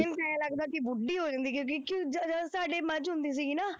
ਤੈਨੂੰ ਆਂਏਂ ਲੱਗਦਾ ਕਿ ਬੁੱਢੀ ਹੋ ਜਾਂਦੀ ਹੈ ਕਿ ਦੇਖੀ ਜਦੋਂ ਜਦੋਂ ਸਾਡੇ ਮੱਝ ਹੁੰਦੀ ਸੀਗੀ ਨਾ